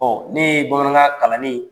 Ɔ ne ye Bamanakan kalanl